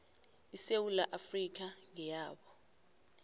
isewula afrika ngeyabo